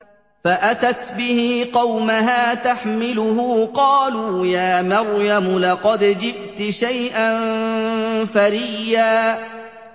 فَأَتَتْ بِهِ قَوْمَهَا تَحْمِلُهُ ۖ قَالُوا يَا مَرْيَمُ لَقَدْ جِئْتِ شَيْئًا فَرِيًّا